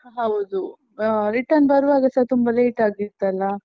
ಹೌದು ಹ್ಮ್ return ಬರುವಾಗಸ ತುಂಬಾ late ಆಗಿತ್ತಲ್ಲಾ?